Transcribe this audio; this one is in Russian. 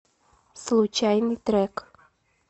случайный трек